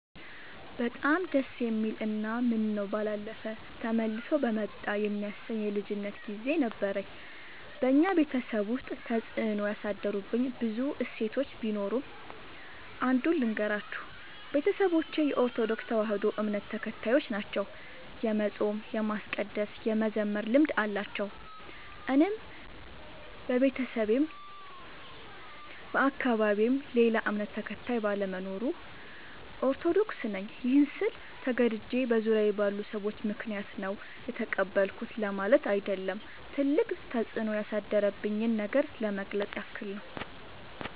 በጣም ደስ የሚል እና ምነው ባላለፈ ተመልሶ በመጣ የሚያሰኝ የልጅነት ግዜ ነበረኝ። በኛ ቤተሰብ ውስጥ ተፅዕኖ ያሳደሩብኝ ብዙ እሴቶች ቢኖሩም። አንዱን ልገራችሁ፦ ቤተሰቦቼ የኦርቶዶክስ ተዋህዶ እምነት ተከታዮች ናቸው። የመፃም የማስቀደስ የመዘመር ልምድ አላቸው። እኔም በቤተሰቤም በአካባቢዬም ሌላ እምነት ተከታይ ባለመኖሩ። ኦርቶዶክስ ነኝ ይህን ስል ተገድጄ በዙሪያዬ ባሉ ሰዎች ምክንያት ነው የተቀበልኩት ለማለት አይደለም ትልቅ ተፅኖ ያሳደረብኝን ነገር ለመግለፅ ያክል ነው።